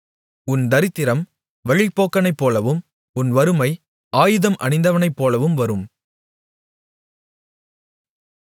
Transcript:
உன் தரித்திரம் வழிப்போக்கனைப்போலவும் உன் வறுமை ஆயுதம் அணிந்தவனைப்போலவும் வரும்